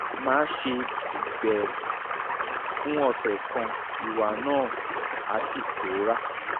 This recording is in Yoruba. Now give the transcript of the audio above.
máa ṣe bẹ́ẹ̀ fún ọ̀sẹ̀ kan ìwà náà á sì pòórá